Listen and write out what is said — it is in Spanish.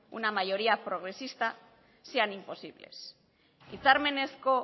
una mayoría progresista sean imposibles hitzarmenezko